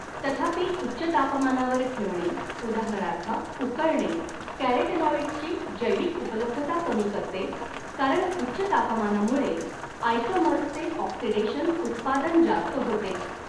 तथापि उच्च तापमानावर ठेवणे उदाहरणार्थ उकळणे कॅरोटेनॉइड्सची जैविक उपलब्धता कमी करते कारण उच्च तापमानामुळे आयसोमर्सचे ऑक्सिडेशन उत्पादन जास्त होते.